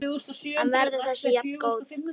En verður þessi jafngóð?